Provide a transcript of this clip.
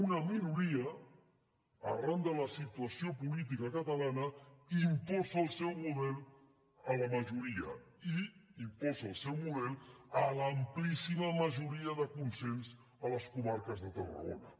una minoria arran de la situació política catalana imposa el seu model a la majoria i imposa el seu model a l’amplíssima majoria de consens a les comarques de tarragona